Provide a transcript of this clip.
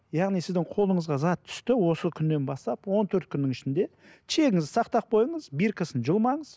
яғни сіздің қолыңызға зат түсті осы күннен бастап он төрт күннің ішінде чегіңізді сақтап қойыңыз биркасын жұлмаңыз